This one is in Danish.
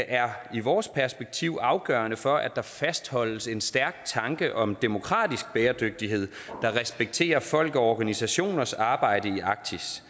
er i vores perspektiv afgørende for at der fastholdes en stærk tanke om demokratisk bæredygtighed der respekterer folk og organisationers arbejde i arktis